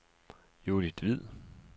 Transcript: Judith Hvid